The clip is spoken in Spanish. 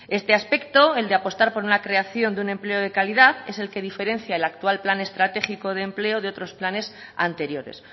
este aspecto el de apostar por una creación de un empleo de calidad es el que diferencia el actual plan estratégico de empleo de otros planes anteriores